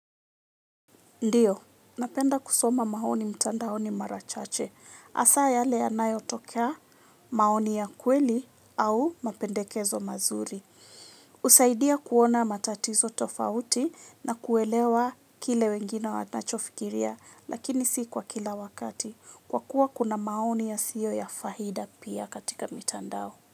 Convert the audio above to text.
Ndio, napenda kusoma maoni mtandaoni mara chache. Hasa yale yanayotokea maoni ya kweli au mapendekezo mazuri. Husaidia kuona matatizo tofauti na kuelewa kile wengine wanachofikiria lakini si kwa kila wakati. Kwa kuwa kuna maoni yasiyo ya faida pia katika mitandao.